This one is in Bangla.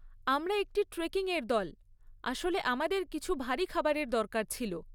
আমরা একটি ট্রেকিং এর দল, আসলে আমাদের কিছু ভারি খাবারের দরকার ছিল।